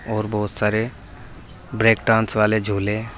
और बहुत सारे ब्रेक डांस वाले झूले--